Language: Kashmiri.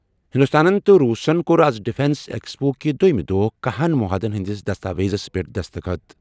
ہِنٛدُستانن تہٕ روٗسَن کوٚر آز ڈِفیٚنس ایکسپو کہِ دوٚیمِہ دۄہ کَہنَ معاہدن ہِنٛدِس دستا ویزس پٮ۪ٹھ دستخط۔